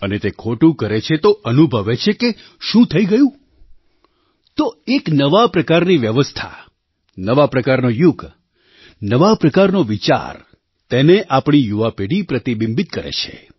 અને તે ખોટું કરે છે તો અનુભવે છે કે શું થઈ ગયું તો એક નવા પ્રકારની વ્યવસ્થા નવા પ્રકારનો યુગ નવા પ્રકારનો વિચાર તેને આપણી યુવા પેઢી પ્રતિબિંબિતકરે છે